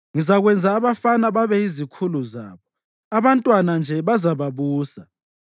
“Ngizakwenza abafana babeyizikhulu zabo; abantwana nje bazababusa.”